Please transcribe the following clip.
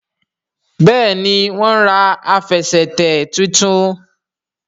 Béèni wón rà Àfẹsẹ̀tẹ̀ títún.